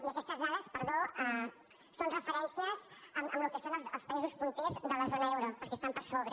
i aquestes da·des perdó són referències amb el que són els països punters de la zona euro perquè estan per sobre